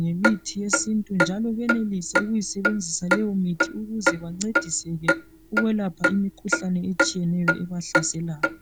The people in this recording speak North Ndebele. ngemithi yesintu njalo benelise ukuyisebenzisa leyo mithi ukuze bencediseke ukwelapha imikhuhlane etshiyeneyo ebahlaselayo